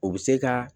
O bɛ se ka